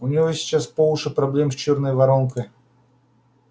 у него сейчас по уши проблем с чёрной воронкой